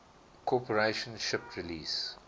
corporation shipped release